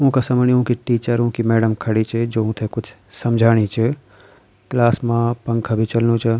ऊंका समणीं उंकी टीचर उंकी मैडम खड़ी च जो उन्थे कुछ समझाणी च क्लास मा पंखा भी चलणु च।